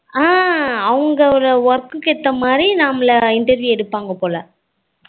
அஹ் அவங்க work ஏத்த மாதிரி நம்மள interview எடுப்பாங்க போல